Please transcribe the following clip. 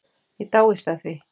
Ég dáist að því.